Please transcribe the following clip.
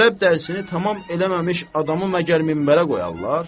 Ərəb dərsini tamam eləməmiş adamı məgər minbərə qoyarlar?